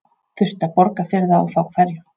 Þurfti að borga fyrir það og þá hverjum?